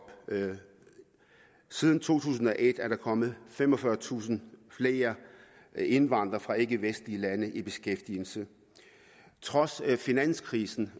siden to tusind og et er der kommet femogfyrretusind flere indvandrere fra ikkevestlige lande i beskæftigelse trods finanskrisen